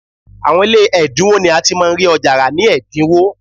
Àwọn ilé ẹ̀dínwó ni a ti máa ń rí ọjà rà ní ẹ̀dínwó